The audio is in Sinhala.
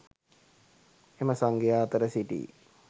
එම සංඝයා අතර සිටි